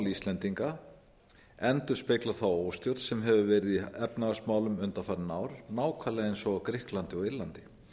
gjaldmiðilsvandamál íslendinga endurspegla þá óstjórn sem hefur verið í efnahagsmálum undanfarin ár nákvæmlega eins og á grikklandi og írlandi